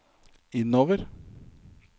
innover